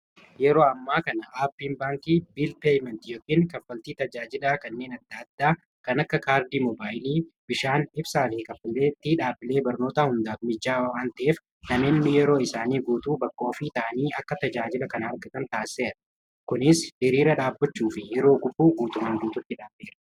yeroo ammaa kana aapiin baankii bil peyment yookiin kaffaltii tajaajilaa kanneen adda addaa kan akka kaardii moobaayilii bishaan ibsaa fi kaffaleetti dhaablee barnoota hundaa mijjaawawaanteef nameenni yeroo isaanii guutuu bakkoo fii ta'anii akka tajaajila kan argatan taassera kunis iriira dhaabbachuu fi yeroo gubuu guutuman guututti dhaabbeera